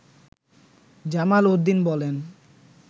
জামাল উদ্দিন বলেন